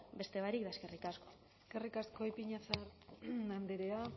beste barik eskerrik asko eskerrik asko ipiñazar andrea